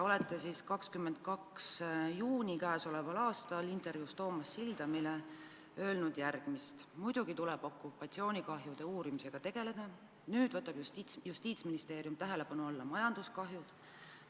Ütlesite 22. juunil käesoleval aastal intervjuus Toomas Sildamile järgmist: "Muidugi tuleb okupatsioonikahjude uurimisega tegeleda, nüüd võtab justiitsministeerium tähelepanu alla majanduskahjud.